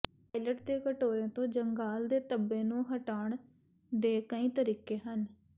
toilet ਦੇ ਕਟੋਰੇ ਤੋਂ ਜੰਗਾਲ ਦੇ ਧੱਬੇ ਨੂੰ ਹਟਾਉਣ ਦੇ ਕਈ ਤਰੀਕੇ ਹਨ